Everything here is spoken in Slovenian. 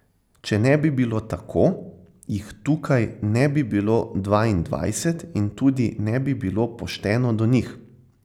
Če ne bi bilo tako, jih tukaj ne bi bilo dvaindvajset in tudi ne bi bilo pošteno do njih.